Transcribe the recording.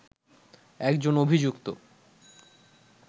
একজন অভিযুক্ত